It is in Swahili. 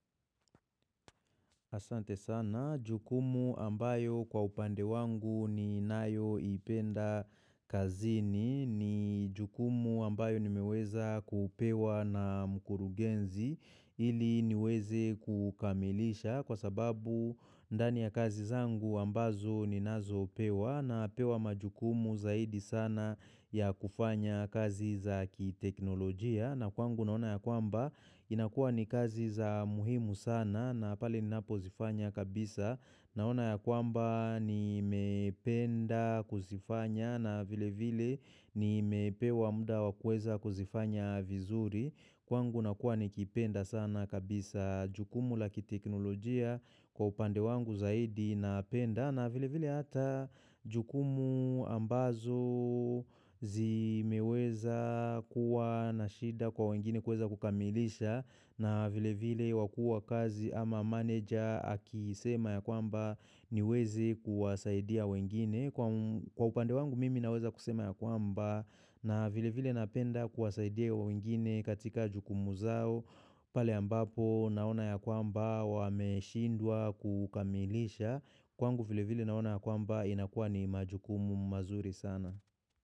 Asante sana, jukumu ambayo kwa upande wangu ni nayo ipenda kazini ni jukumu ambayo nimeweza kupewa na mkurugenzi ili niweze kukamilisha kwa sababu ndani ya kazi zangu ambazo ninazo pewa na pewa majukumu zaidi sana ya kufanya kazi za kiteknolojia. Na kwangu naona ya kwamba inakua ni kazi za muhimu sana na pali ni napo zifanya kabisa naona ya kwamba ni mependa kuzifanya na vile vile ni mepewa muda wakuweza kuzifanya vizuri kwangu na kuwa ni kipenda sana kabisa jukumu laki teknolojia kwa upande wangu zaidi na penda na vile vile hata jukumu ambazo zimeweza kuwa nashida kwa wengine kuweza kukamilisha na vile vile wakuu wa kazi ama manager akisema ya kwamba niwezi kuwasaidia wengine Kwa upande wangu mimi naweza kusema ya kwamba na vile vile napenda kuwasaidia ya wengine katika jukumu zao Pali ambapo naona ya kwamba wameshindwa kukamilisha Kwangu vile vile naona kwamba inakua ni majukumu mazuri sana.